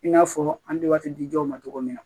I n'a fɔ an bɛ waati di dɔw ma cogo min na